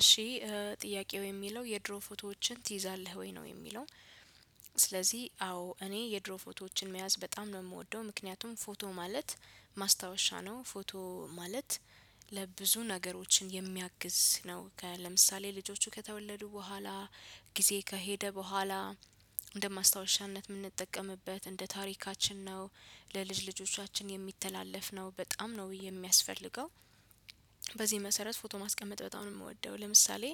እሺ ጥያቄው የሚለው የድሮ ፎቶዎችን ትይዛለህ ወይ ነው የሚለው? ስለዚህ አዎ እኔ የድሮ ፎቶዎችን መያዝ በጣም ነው የምወደው ምክንያቱም ፎቶ ማለት ማስታወሻ ነው ፎቶ ማለት ብዙ ነገሮችን የሚያግዝ ነው። ለምሳሌ ልጆቹ ከተወለዱ በኋላ ጊዜ ከሄደ በኋላ እንደ ማስታወሻነት የምንጠቀምበት እንደ ታሪካችን ነው ለልጅ ልጆቻችን የሚተላለፍ ነው በጣም ነው የሚያስፈልገው። በዚህ መሰረት ፎቶ ማስቀመጥ በጣም ነው የምወደው። ለምሳሌ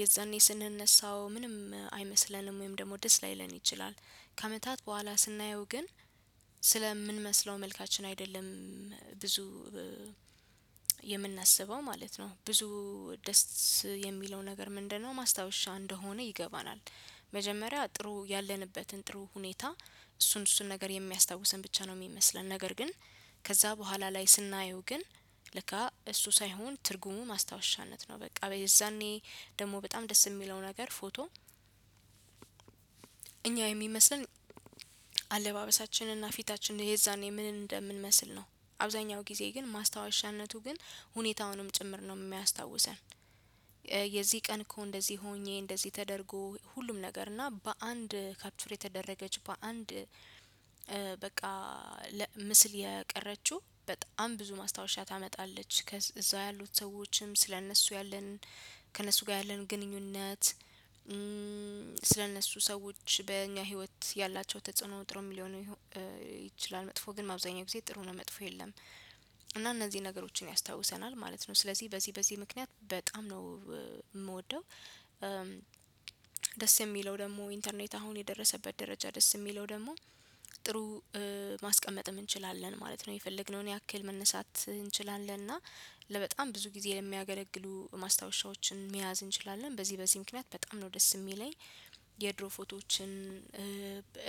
የዛኔ ስንነሳው ምንም አይመስለንም ወይም ደግሞ ደስ ላይለን ይችላል። ከአመታት በኋላ ስናየው ግን ስለምንመስለው መልካችን አይደለም። ብዙ የምናስበው ማለት ነው ብዙ ደስ የሚለው ነገር ምንድነው ማስታወሻ እንደሆነ ይገባናል። መጀመሪያ ጥሩ ያለንበትን ጥሩ ሁኔታ እሱን እሱን ነገር የሚያስታውሰን ብቻ ነው የሚመስለን ነገር ግን። ከዛ በኋላ ላይ ስናየው ግን ለካ እሱ ሳይሆን ትርጉሙ ማስታወሻነት ነው። በቃ በዛኔ ደግሞ በጣም ደስ የሚለው ነገር ፎቶ። እኛ የሚመስለን አለባበሳችንና ፊታችን የዛኔ ምን እንደምንመስል ነው። አብዛኛው ጊዜ ግን ማስታወሻነቱ ግን ሁኔታውንም ጭምር ነው የሚያስታውሰን። የዚህ ቀን እኮ እንደዚህ ሆኜ እንደዚህ ተደርጎ ሁሉም ነገር እና በአንድ ካፕትፎር የተደረገች በአንድ በቃ ምስል የቀረችው በጣም ብዙ ማስታወሻ ታመጣለች። ከዛ ያሉት ሰዎችም ስለእነሱ ያለን ከእነሱ ጋር ያለን ግንኙነት። ስለእነሱ ሰዎች በእኛ ህይወት ያላቸው ተጽዕኖ ጥሩ ሊሆን ይችላል መጥፎ ግን አብዛኛው ጊዜ ጥሩ ነው መጥፎ የለም። እና እነዚህን ነገሮችን ያስታውሰናል ማለት ነው። ስለዚህ በዚህ በዚህ ምክንያት በጣም ነው የምወደው። ደስ የሚለው ደግሞ ኢንተርኔት አሁን የደረሰበት ደረጃ ደስ የሚለው ደግሞ ጥሩ ማስቀመጥ እንችላለን ማለት ነው። የፈለግነውን ያክል መነሳት እንችላለን እና ለበጣም ብዙ ጊዜ የሚያገለግሉ ማስታወሻዎችን መያዝ እንችላለን በዚህ በዚህ ምክንያት በጣም ነው ደስ የሚለኝ። የድሮ ፎቶዎችን።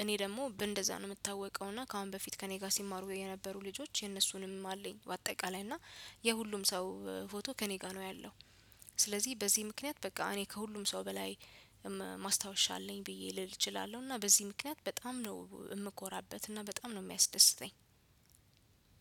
እኔ ደግሞ እንደዛ ነው የምታወቀው እና ከአሁን በፊት ከእኔ ጋር ሲማሩ የነበሩ ልጆች የነሱንም አለኝ በአጠቃላይ እና የሁሉም ሰው ፎቶ ከእኔ ጋር ነው ያለው። ስለዚህ በዚህ ምክንያት በቃ እኔ ከሁሉም ሰው በላይ ማስታወሻ አለኝ ብዬ ልል እችላለሁ። እና በዚህ ምክንያት በጣም ነው የምኮራበት እና በጣም ነው የሚያስደስተኝ።